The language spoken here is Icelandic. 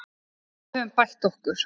En við höfum bætt okkur